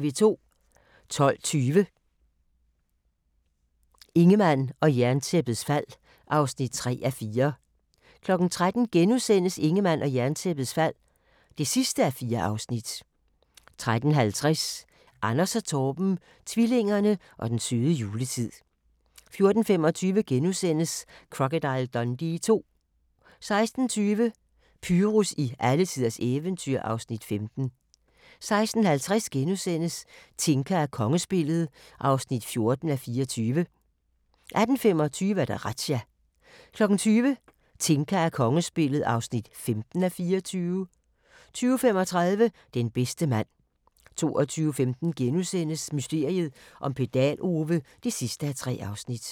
12:20: Ingemann og Jerntæppets fald (3:4) 13:00: Ingemann og Jerntæppets fald (4:4)* 13:50: Anders & Torben - tvillingerne og den søde juletid 14:25: Crocodile Dundee II * 16:20: Pyrus i alletiders eventyr (Afs. 15) 16:50: Tinka og kongespillet (14:24)* 18:25: Razzia 20:00: Tinka og kongespillet (15:24) 20:35: Den bedste mand 22:15: Mysteriet om Pedal-Ove (3:3)*